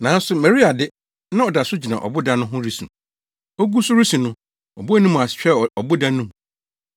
Nanso Maria de, na ɔda so gyina ɔboda no ho resu. Ogu so resu no, ɔbɔɔ ne mu ase hwɛɛ ɔboda no mu,